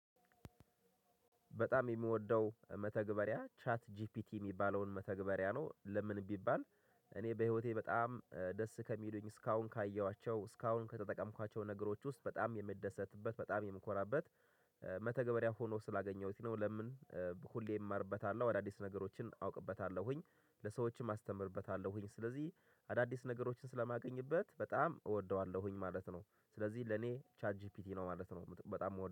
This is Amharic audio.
በጣም የምወደው መተግበሪያ ቻት ጂፒቲ የሚባለውን መተግበሪያ ነው ለምን ቢባል እኔ በህይወቴ በጣም ደስ ከሚሉኝ እስካሁን ካየኋቸው እስካሁን ከተጠቀምኳቸው ነገሮች ውስጥ በጣም የምደሰትበት በጣም የምኮራበት። መተግበሪያም ሆኖ ስላገኘሁት ነው። ለምን ሁሌ እማርበታለሁ አዳዲስ ነገሮችን አውቅበታለሁኝ ለሰዎችም አስተምርበታለሁኝ ስለዚህ አዳዲስ ነገሮችን ስለማገኝበት በጣም እወደዋለሁኝ ማለት ነው። ስለዚህ ለኔ ቻት ጂፒቲ ነው ማለት ነው በጣም የምወደዋለሁ